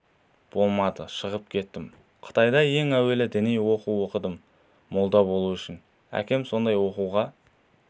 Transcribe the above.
болмады шығып кеттім қытайда ең әуелі діни оқу оқыдым молда болу үшін әкем сондай оқуға